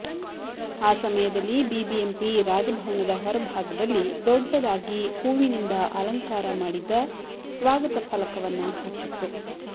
ಆ ಸಮಯದಲ್ಲಿ ಬಿಬಿಎಂಪಿ ರಾಜಭವನದ ಹೊರಭಾಗದಲ್ಲಿ ದೊಡ್ಡದಾಗಿ ಹೂವಿನಿಂದ ಅಲಂಕಾರ ಮಾಡಿದ್ದ ಸ್ವಾಗತ ಫಲಕವನ್ನ ಹಾಕಿತ್ತು